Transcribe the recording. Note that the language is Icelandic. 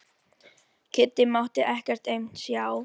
Kiddi mátti ekkert aumt sjá.